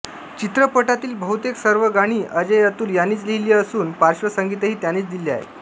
चित्रपटातील बहुतेक सर्व गाणी अजयअतुल यांनीच लिहिली असून पार्श्वसंगीतही त्यांनीच दिले आहे